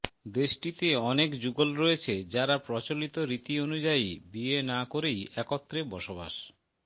দেশটিতে অনেক যুগল রয়েছে যারা প্রচলিত রীতি অনুযায়ী বিয়ে না করেই একত্রে বসবাস